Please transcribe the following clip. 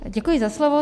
Děkuji za slovo.